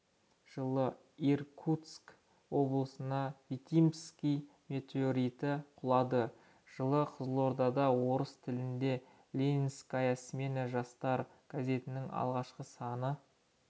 жылы иркутск облысына витимский метеориті құлады жылы қызылордада орыс тілінде ленинская смена жастар газетінің алғашқы саны